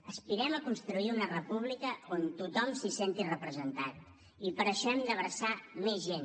aspirem a construir una república on tothom es senti representat i per això hem d’abraçar més gent